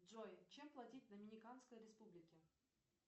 джой чем платить в доминиканской республике